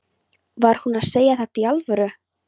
Var hún að segja þetta í alvöru?